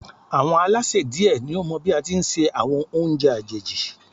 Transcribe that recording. Àwọn Alásè die ni ó mọ bí á tí ń se àwọn oúnjẹ àjèjì